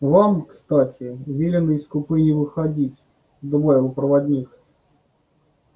вам кстати велено из купе не выходить добавил проводник